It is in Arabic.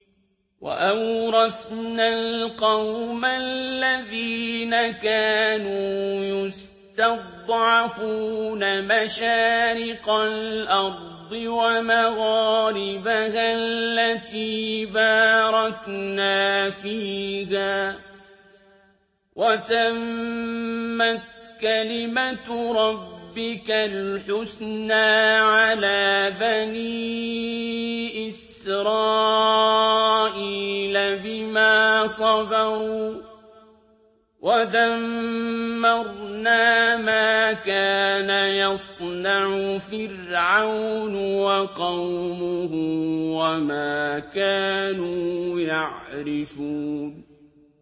وَأَوْرَثْنَا الْقَوْمَ الَّذِينَ كَانُوا يُسْتَضْعَفُونَ مَشَارِقَ الْأَرْضِ وَمَغَارِبَهَا الَّتِي بَارَكْنَا فِيهَا ۖ وَتَمَّتْ كَلِمَتُ رَبِّكَ الْحُسْنَىٰ عَلَىٰ بَنِي إِسْرَائِيلَ بِمَا صَبَرُوا ۖ وَدَمَّرْنَا مَا كَانَ يَصْنَعُ فِرْعَوْنُ وَقَوْمُهُ وَمَا كَانُوا يَعْرِشُونَ